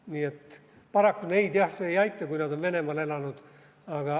Nii et paraku neid, jah, see ei aita, kui nad on Venemaal elanud.